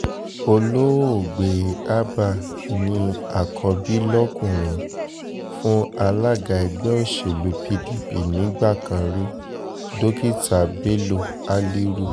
olóògbé abba ní àkọ́bí lọkùnrin fún alága ẹgbẹ́ òsèlú pdp nígbà kan rí dókítà bello haliru